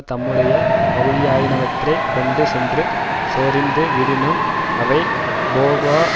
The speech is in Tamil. தம்முடைய பகுதியாயினவற்றைக் கொண்டு சென்று சொரிந்து விடினும் அவை போகா